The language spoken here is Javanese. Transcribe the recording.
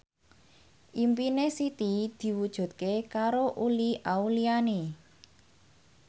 impine Siti diwujudke karo Uli Auliani